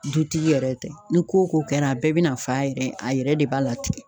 Dutigi yɛrɛ tɛ, ni ko ko kɛra a bɛɛ be na fa yɛrɛ a yɛrɛ de b'a latigɛ.